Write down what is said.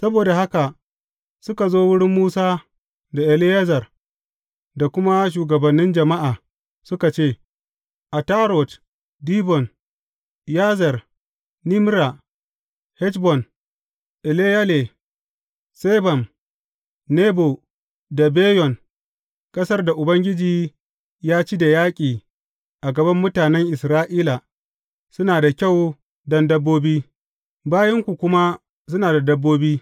Saboda haka suka zo wurin Musa da Eleyazar da kuma shugabannin jama’a, suka ce, Atarot, Dibon, Yazer, Nimra, Heshbon, Eleyale, Sebam, Nebo da Beyon, ƙasar da Ubangiji ya ci da yaƙi a gaban mutane Isra’ila, suna da kyau don dabbobi, bayinku kuma suna da dabbobi.